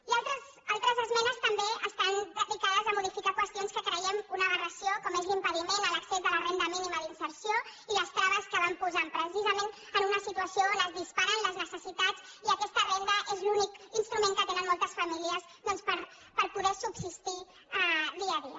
i altres esmenes també estan dedicades a modificar qüestions que creiem una aberració com és l’impediment de l’accés a la renda mínima d’inserció i les traves que van posant precisament en una situació on es disparen les necessitats i aquesta renda és l’únic instrument que tenen moltes famílies doncs per poder subsistir dia a dia